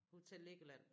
Hotel Legoland?